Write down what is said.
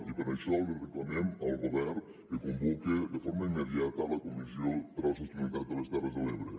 i per això reclamem al govern que convoque de forma immediata la comissió per a la sostenibilitat de les terres de l’ebre